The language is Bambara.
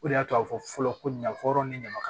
O de y'a to a fɔ fɔlɔ ko ɲafɔ ni ɲama ka